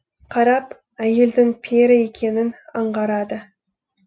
қарап әйелдің пері екенін аңғарады